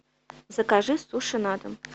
закажи суши на дом